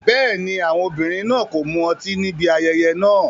Bẹ́ẹ̀ni, àwọn obìnrin náà kò mu ọtí níbi ayẹyẹ náà.